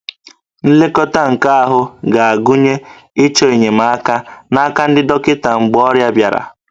Nlekọta nke ahụ ga-agụnye ịchọ enyemaka n'aka ndị dọkịta mgbe ọrịa bịara